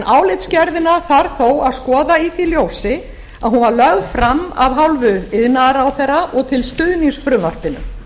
álitsgerðina þarf þó að skoða í því ljósi að hún var lögð frama f hálfu iðnaðarráðherra og til stuðnings frumvarpinu